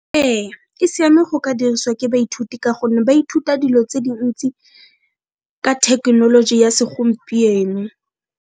Ee, e siame go ka diriswa ke baithuti ka gonne ba ithuta dilo tse dintsi ka thekenoloji ya segompieno.